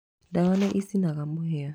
Ndawa nĩ ĩcinaga mũhĩa.